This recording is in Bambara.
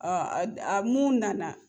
Ad a mun nana.